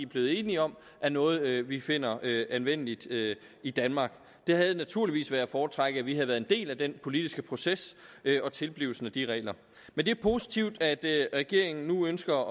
blevet enige om er noget vi vi finder anvendeligt i danmark det havde naturligvis været at foretrække at vi havde været en del af den politiske proces og tilblivelsen af de regler men det er positivt at regeringen nu ønsker